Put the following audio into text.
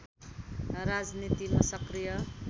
राजनीतिमा सक्रिय